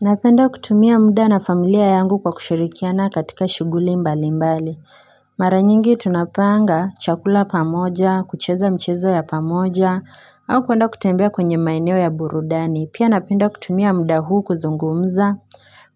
Napenda kutumia muda na familia yangu kwa kushirikiana katika shughuli mbali mbali Mara nyingi tunapanga chakula pamoja kucheza michezo ya pamoja au kuenda kutembea kwenye maeneo ya burudani, pia napenda kutumia muda huu, kuzungumza